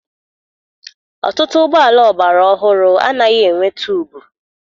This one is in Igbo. Ọtụtụ ụgbọala ọgbara ọhụrụ anaghị enwe tuubu.